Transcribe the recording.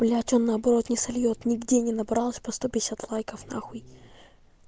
блять он наоборот не сольёт нигде не набралось по сто пятьдесят лайков на хуй